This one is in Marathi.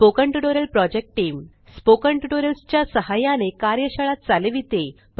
spoken tutorial project team spoken tutorials च्या सहाय्याने कार्यशाळा चालविते